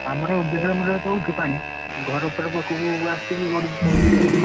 ଆମର ବିଲ ରେ ଚଡୁଛି ପାଣି ଘର ପାଖକୁ ଆସିଲେ ଗଡିକି ପଳଉଛି ଆଉ।